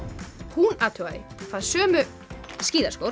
hún athugaði hvað sömu